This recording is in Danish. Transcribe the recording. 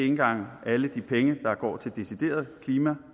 engang alle de penge der går til decideret klima